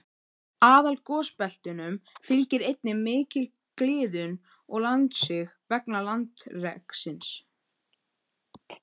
Aðalgosbeltunum fylgir einnig mikil gliðnun og landsig vegna landreksins.